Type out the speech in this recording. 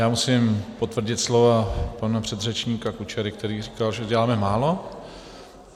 Já musím potvrdit slova pana předřečníka Kučery, který říkal, že děláme málo.